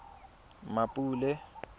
mmapule